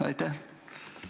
Aitäh!